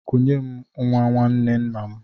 Kunye m nwa nwanne nna m!